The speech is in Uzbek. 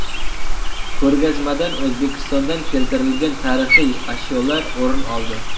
Ko‘rgazmadan O‘zbekistondan keltirilgan tarixiy ashyolar o‘rin oldi.